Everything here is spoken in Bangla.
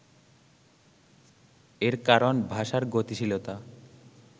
এর কারণ ভাষার গতিশীলতা